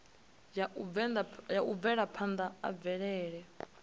ya u bvelaphanda ha mvelele